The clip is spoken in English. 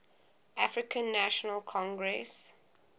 african national congress